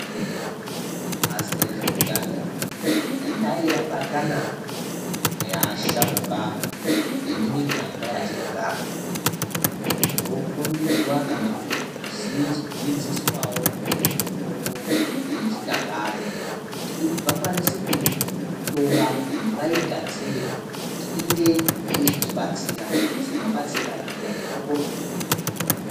Bazi rezveutano dayi rabatana neasharuka emimiganga yatinogara, vokombidzwa kana kudzidziswawo ngezvemitombo yechinyakare, kuti vakwanise kuyitora vayigadzire kuti inge yeizotibatsira semabatsire anoyita mitombo yechizvino-zvino.